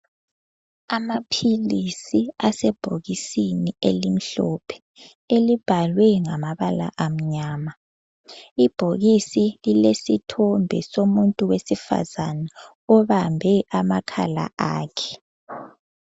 Amaphilisi asebhokisini elimhlophe elibhalwe ngamabala amnyama. Ibhokisi lilesithombe somuntu wesifazana obambe amakhala akhe.